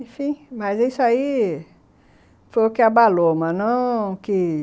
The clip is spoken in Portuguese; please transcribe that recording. Enfim, mas isso aí foi o que abalou, mas não o que